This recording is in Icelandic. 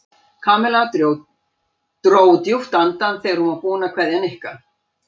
Kamilla dró djúpt andann þegar hún var búin að kveðja Nikka.